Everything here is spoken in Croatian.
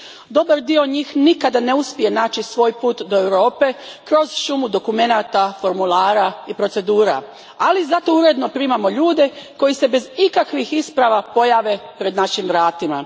Dobar dio njih nikad ne uspije naći svoj put do Europe kroz šumu dokumenata, formulara i procedura, ali zato uredno primamo ljude koji se bez ikakvih isprava pojave pred našim vratima.